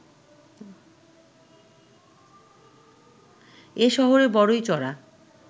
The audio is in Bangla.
এ শহরে বড়ই চড়া